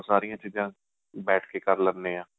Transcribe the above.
ਸਾਰੀਆਂ ਚੀਜਾਂ ਬੈਠ ਕੇ ਕਰ ਲਿਣੇ ਹਾਂ